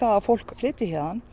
að fólk flytjist héðan